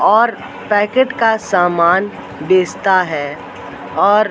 और पैकेट का सामान बेचता है और--